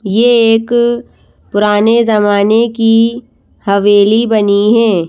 यह एक पुराने जमाने की हवेली बनी है।